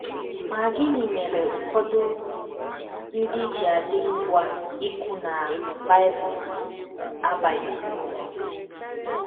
Ma gịnị mere ụfọdụ ndị ji adị ngwa ikwu na Bible abaghịzi uru?